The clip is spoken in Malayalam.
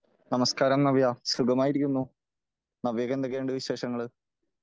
നമസ്കാരം നവ്യ സുഖമായിരിക്കുന്നു . നവ്യയ്ക്ക് എന്തൊക്കെയുണ്ട് ?